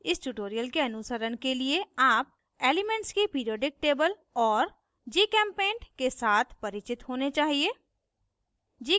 इस ट्यूटोरियल के अनुसरण के लिए आप एलीमेन्ट्स की पिरिऑडिक टेबल और gchempaint के साथ परिचित होने चाहिए